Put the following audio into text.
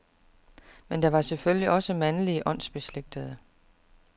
Men der var selvfølgelig også mandlige åndsbeslægtede.